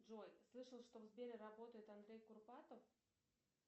джой слышал что в сбере работает андрей курпатов